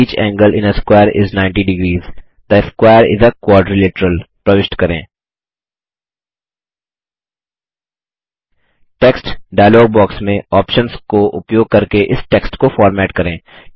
each angle in a square is ninety degrees the square is a quadrilateral प्रविष्ट करें text dialog box में options को उपयोग करके इस टेक्स्ट को फॉर्मेट करें